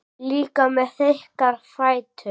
Líka með þykka fætur.